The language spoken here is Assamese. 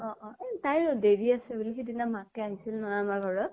অ অ । এ তাইৰো দেৰি আছে বুলি, সিদিনা মাকে আহিছিল নহয় আমাৰ ঘৰত